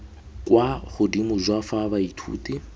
kwa godimo jwa fa baithuti